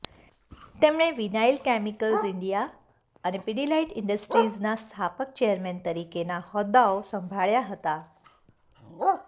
તેમણે Vinyl Chemicals India અને Pidilite ઇન્ડસ્ટ્રિઝના સ્થાપક ચેરમેન તરીકેના હોદ્દાઓ સંભાળ્યા હતા